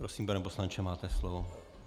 Prosím, pane poslanče, máte slovo.